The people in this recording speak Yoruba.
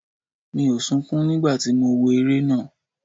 Mi ò sunkún nígbà tí mo wo eré náà.